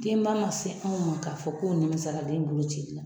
Denba man se anw ma k'a fɔ ko nin mɛ sɔn a ka den bolocili ma.